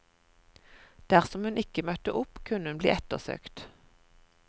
Dersom hun ikke møtte opp, kunne hun bli ettersøkt.